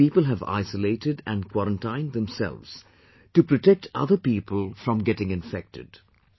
These people have isolated and quarantined themselves to protect other people from getting infected